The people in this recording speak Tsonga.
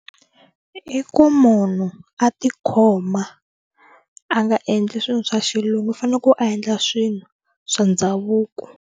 I ku munhu a tikhoma a nga endli swilo swa xilungu u fane ku endla swilo swa ndhavuko.